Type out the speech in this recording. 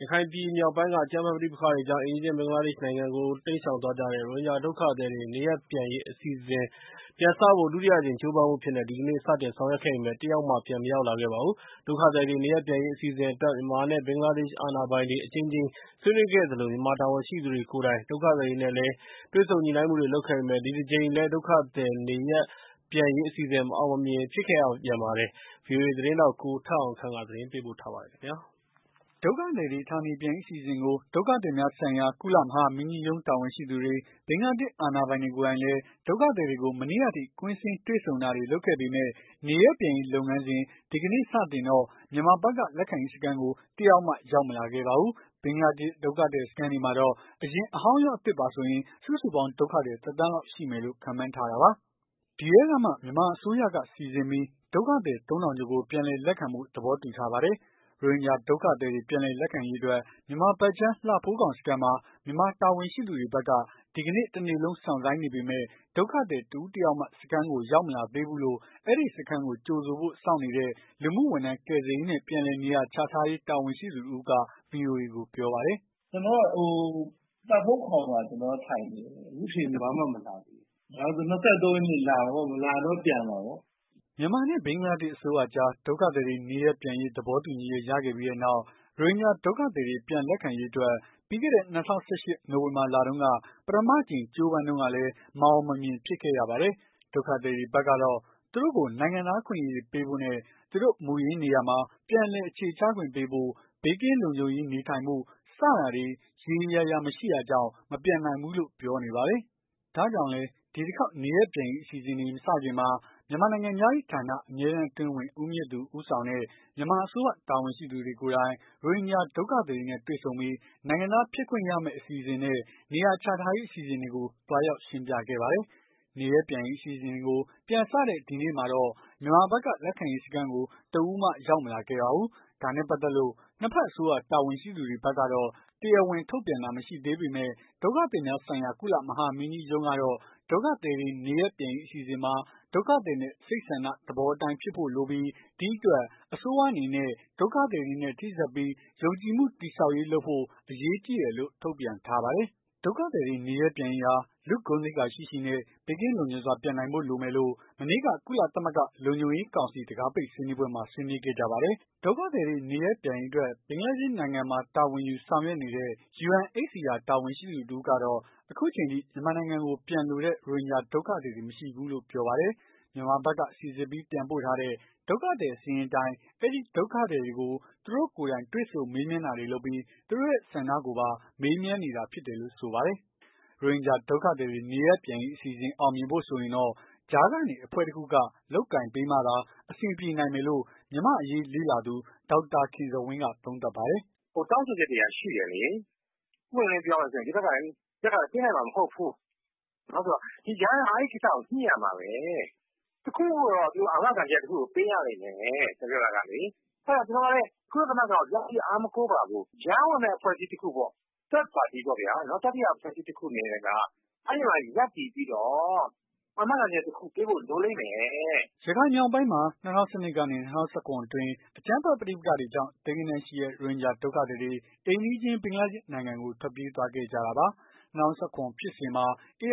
ရခိုင်ပြည်မြောက်ပိုင်းက အကြမ်းဖက်ပဋိပက္ခတွေကြောင့် အိမ်နီးချင်းဘင်္ဂလားဒေ့ရ်ှနိုင်ငံကို တိမ်းရှောင်သွားကြတဲ့ ရိုဟင်ဂျာဒုက္ခသည်တွေ နေရပ်ပြန်ရေး အစီအစဉ် ပြန်စဖို့ ဒုတိယအကြိမ်ကြိုးပမ်းမှုအဖြစ် ဒီကနေ့ စတင်ဆောင်ရွက်ခဲ့ပေမယ့် တယောက်မှ ပြန်မရောက်လာပါဘူး။ ဒုက္ခသည်တွေ နေရပ်ပြန်ရေး အစီအစဉ်အတွက် မြန်မာနဲ့ ဘင်္ဂလားဒေ့ရ်ှ အာဏာပိုင်တွေအကြိမ်ကြိမ် ဆွေးနွေးခဲ့သလို၊ မြန်မာတာဝန်ရှိသူတွေကိုယ်တိုင် ဒုက္ခသည်တွေနဲ့လည်း တွေ့ဆုံညှိုနှိုင်းမှုတွေလုပ်ခဲ့ပေမယ့် ဒီတကြိမ်လည်း ဒုက္ခသည်နေရပ်ပြန်ရေးအစီအစဉ် မအောင်မမြင်ဖြစ်ရပြန်ပါတယ်။ ဗွီအိုအေ သတင်းထောက် မမေခနဲ့ ကိုထက်အောင်ခန့် သတင်းပေးပို့ထားပါတယ်။ ဒုက္ခသည်ကတွေ ဌာနေပြန်ရေးအစီအစဉ်ကို ဒုက္ခသည်များဆိုင်ရာ ကုလမဟာမင်းကြီးရုံး တာဝန်ရှိသူတွေ၊ ဘင်္ဂလာဒေ့ရ်ှအာဏာပိုင်တွေကိုယ်တိုင်လည်း ဒုက္ခသည်တွေကို မနေ့ကထိ ကွင်းဆင်းတွေ့ဆုံတာတွေ လုပ်ခဲ့ပေမယ့် နေရပ်ပြန်ရေးလုပ်ငန်းစဉ်ဒီကနေ့ စတင်တော့ မြန်မာဖက်က လက်ခံရေးစခန်းကို တယောက်မှ ရောက်မလာခဲ့ပါဘူး။ဘင်္ဂလားဒေ့ရှ်က ဒုက္ခသည်စခန်းတွေမှာတော့ အရင်အဟောင်းရော အသစ်ပါဆိုရင် စုစုပေါင်း ဒုက္ခသည် တသန်းလောက်ရှိမယ်လို့ခန့်မှန်းထားတာပါ။ ဒီအထဲကမှ မြန်မာအစိုးရက စီစစ်ပြီး ဒုက္ခသည် သုံးထောင်ကျော်ကို ပြန်လည်လက်ခံဖို့ သဘောတူ ထားပါတယ်။ ရိုဟင်ဂျာဒုက္ခသည်တွေ ပြန်လည်လက်ခံရေးအတွက် မြန်မာဖက်ခြမ်း လှဖိုးခေါင် စခန်းမှာ မြန်မာတာဝန်ရှိသူတွေဖက်က ဒီကနေ တနေ့လုံး စောင့်ဆိုင်းနေပေမယ့်၊ ဒုက္ခသည် တဦးတယောက်မှ စခန်းကို ရောက်မလာသေးဘူးလို့ အဲဒီစခန်းမှာကြိုဆိုဖို့ စောင့်နေတဲ့ လူမှုဝန်ထမ်း ကယ်ဆယ်ရေးနဲ့ ပြန်လည်နေရာချထားရေးတာဝန်ရှိသူတဦးက ဗွီအိုအေကို ပြောပါတယ်။ "ကျနော်ကလှဖိုးခေါင်မှာကျနော်ကထိုင်နေတယ်။ ခုထိဘာမှမလာဘူး။ ၂၃ရက်နေ့လာပေါ့မလာရင်ပြန်မှာပေါ့။ " မြန်မာနဲ့ ဘင်္ဂလားဒေရ်ှအစိုးရအကြား ဒုက္ခသည်တွေနေရပ်ပြန်ရေးသဘောတူညီချက်ရခဲ့ပြီးတဲ့နောက် ရိုဟင်ဂျာဒုက္ခသည်တွေပြန်လက်ခံရေးအတွက် ပြီးခဲ့တဲ့ ၂၀၁၈ နိုဝင်ဘာလတုန်းက ပထမအကြိမ် ကြိုးပမ်းတုန်းကလည်း မအောင်မမြင်ဖြစ်ခဲ့ရပါတယ်။ ဒုက္ခသည်တွေဖက်ကတော့ သူတို့ကို နိုင်ငံသားအခွင့်အရေးတွေ ပေးဖို့နဲ့၊ သူတို့ မူရင်းနေရာမှ ပြန်လည် အခြေချခွင့် ပေးဖို့၊ ဘေးကင်းလုံခြုံရေးနေထိုင်နိုင်ဖို့ စတာတွေ ရေရောရာရာ မရှိတာကြောင့် မပြန်နိုင်ဘူး လို့ ပြောနေပါတယ်။ ဒါကြောင့်လည်း ဒီတခေါက် နေရပ်ပြန်ရေးအစီအစဉ်တွေ မစခင်မှာ မြန်မာနိုင်ငံခြားရေး ဌာန အမြဲတမ်းအတွင်းဝင် ဦးမြင့်သူ ဦးဆောင်တဲ့ မြန်မာအစိုးရတာဝန်ရှိသူတွေကိုယ်တိုင် ရိုဟင်ဂျာဒုက္ခသည်တွေနဲ့တွေ့ဆုံပြီး၊ နိုင်ငံသားဖြစ်ခွင့်ရမယ့်အစီအစဉ်နဲ့ နေရာချထားရေးအစီအစဉ်တွေကို သွားရောက်ရှင်းပြခဲ့ပါတယ်။ နေရပ်ပြန်ရေးအစီအစဉ်တွေ ပြန်စတဲ့ ဒီနေ့မှာတော့ မြန်မာဖက်က လက်ခံရေးစခန်းကို တဦးမှ ရောက်မလာခဲ့ပါဘူး။ ဒါနဲ့ပတ်သက်လို့ နှစ်ဖက် အစိုးရတာဝန်ရှိသူတွေဖက်ကတော့ တရားဝင်ထုတ်ပြန်တာမရှိသေးပေမယ့်၊ ဒုက္ခသည်များဆိုင်ရာ ကုလသမဂ္ဂမဟာမင်းကြီးရုံးကတော့ ဒုက္ခသည်တွေ နေရပ်ပြန်ရေးအစီအစဉ်မှာ ဒုက္ခသည်ရဲ့စိတ်ဆန္ဒသဘောအတိုင်းဖြစ်ဖို့လိုပြီး၊ ဒီအတွက် အစိုးရတွေအနေနဲ့ ဒုက္ခသည်တွေနဲ့ ထိစပ်ပြီး ယုံကြည်မှုတည်ဆောက်ရေးလုပ်ဖို့ အရေးကြီးတယ်လို့ ထုတ်ပြန်ထားပါတယ်။ ဒုက္ခသည်တွေနေရပ်ပြန်ရေးဟာ လူ့ဂုဏ်သိက္ခာရှိရှိနဲ့ ဘေးကင်းလုံခြုံစွာပြန်နိုင်ဖို့ လိုမယ်လို့ မနေ့က ကုလသမဂ္ဂလုံခြုံရေးကောင်စီ တံခါးပိတ်ဆွေးနွေးပွဲမှာ ဆွေးနွေးခဲ့ကြပါတယ်။ ဒုက္ခသည်တွေနေရပ်ပြန်ရေးအတွက် ဘင်္ဂလားဒေ့ရ်ှနိုင်ငံမှာ တာဝန်ယူဆောင်ရွက်နေတဲ့ UNHCR တာဝန်ရှိသူတဦးကတော့ ခုအချိန်အထိကို မြန်မာနိုင်ငံကိုပြန်လိုတဲ့ ရိုဟင်ဂျာဒုက္ခသည်တွေ မရှိသေးဘူးလို့ပြောပါတယ်။ မြန်မာဖက်က စီစစ်ပြီး ပြန်ပို့ထားတဲ့ ဒုက္ခသည်စာရင်းအတိုင်း အဲဒီ ဒုက္ခသည်တွေက သူတို့ကိုယ်တိုင်တွေ့ဆုံမေးမြန်းတာတွေလုပ်နေပြီး၊ သူတို့ရဲ့ဆန္ခကိုပါ မေးမြန်းနေတာဖြစ်တယ်လို့ဆိုပါတယ်။ ရိုဟင်ဂျာဒုက္ခသည်တွေ နေရပ်ပြန်ရေးအစီအစဉ် အောင်မြင်ဖို့ဆိုရင်တော့ ကြားကနေ အဖွဲ့တခုက လုပ်ကိုင်ပေးမှသာ အဆင်ပြေနိုင်မယ်လို့ မြန်မာ့အရေးလေ့လာသူ ဒေါက်တာခင်ဇော်ဝင်းက သုံးသပ်ပါတယ်။ "ဟိုဘက်ကလည်းတောင်းဆိုချက်တွေရှိတယ်။ ဒီဘက်ကလည်းပေးနိုင်မှာ မဟုတ်ဘူး။ဒီကြားထဲမှာ အဲကိစ္စကိုညှိရမှာဘဲ။ စိတ်ချရမယ့် အာမခံချက် ပေးရမယ်။ ကုလကိုအားကိုးနေတာချည်းတော့မဟုတ်ဘူး။တတိယအဖွဲ့က ကြားထဲကရပ်ပြီး အာမခံချက်ပေးရလိမ့်မယ်။ " ရခိုင်မြောက်ပိုင်း ၂၀၁၂ ခုနှစ်နဲ့ ၂၀၁၇ ခုနှစ်တွေအတွင်း အကြမ်းဖက်ပဋိပက္ခတွေကြောင့် သိန်းဂဏန်းရှိတဲ့ ရိုဟင်ဂျာဒုက္ခသည်တွေ အိမ်နီးချင်း ဘင်္ဂလားဒေ့ရ်ှနိုင်ငံကို ထွက်ပြေးသွားခဲ့ကြတာပါ။ ၂၀၁၇ ခုနှစ်ဖြစ်စဉ်မှာ ARSA